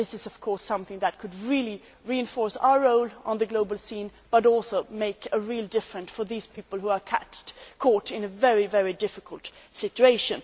This is, of course, something that could really reinforce our role on the global scene, but also make a real difference for these people who are caught in a very difficult situation.